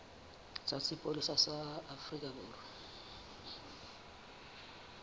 sa sepolesa sa afrika borwa